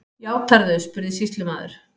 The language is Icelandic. Játarðu, spurði sýslumaður.